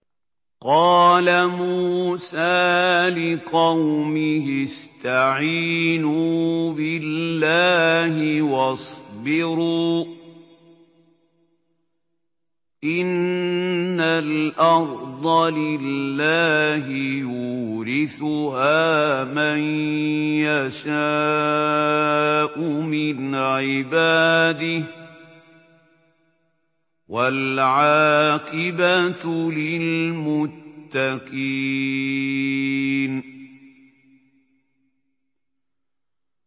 قَالَ مُوسَىٰ لِقَوْمِهِ اسْتَعِينُوا بِاللَّهِ وَاصْبِرُوا ۖ إِنَّ الْأَرْضَ لِلَّهِ يُورِثُهَا مَن يَشَاءُ مِنْ عِبَادِهِ ۖ وَالْعَاقِبَةُ لِلْمُتَّقِينَ